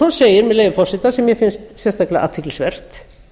svo segir með leyfi forseta sem mér finnst sérstaklega athyglisvert